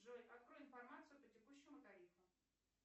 джой открой информацию по текущему тарифу